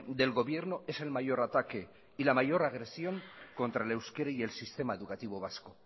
del gobierno es el mayor ataque y la mayor agresión contra el euskera y el sistema educativo vasco